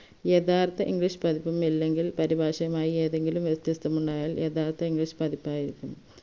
യഥാർത്ഥ english പതിപ്പും അല്ലെങ്കിൽ പരിഭാഷയുമായി ഏതെങ്കിലും വ്യത്യസ്തമുണ്ടായാൽ യഥാർത്ഥ english പതിപ്പായിരിക്കും